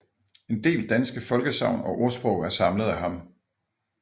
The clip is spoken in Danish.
En del danske folkesagn og ordsprog er samlet af ham